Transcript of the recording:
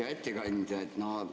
Hea ettekandja!